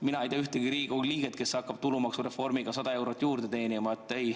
Mina ei tea ühtegi Riigikogu liiget, kes hakkab tulumaksureformiga 100 eurot juurde teenima.